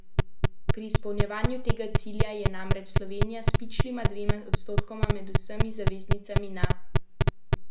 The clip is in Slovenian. Pri izpolnjevanju tega cilja je namreč Slovenija s pičlima dvema odstotkoma med vsemi zaveznicami na zadnjem mestu.